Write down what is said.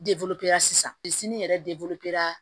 sisan yɛrɛ